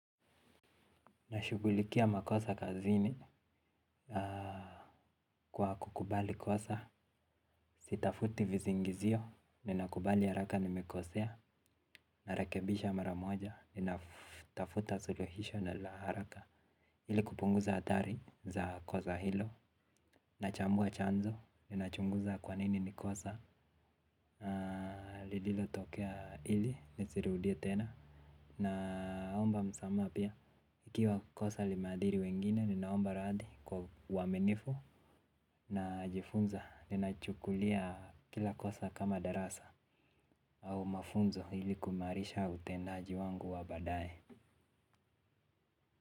Nashugulikia makosa kazini kwa kukubali kosa, sitafuti visingizio, ninakubali haraka nimekosea, narakebisha maramoja, ninatafuta suluhisho na la haraka ili kupunguza athari za kosa hilo, nachambua chanzo, ninachunguza kwa nini ni kosa, lililotokea ili, nisirudia tena, naomba msamaha pia. Ikiwa kosa limeadhiri wengine ninaomba radhi kwa uwaminifu najifunza ninachukulia kila kosa kama darasa au mafunzo ili kuimarisha utendaji wangu wa badae.